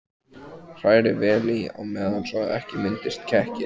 Hrærið vel í á meðan svo ekki myndist kekkir.